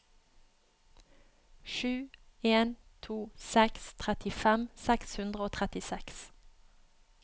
sju en to seks trettifem seks hundre og trettiseks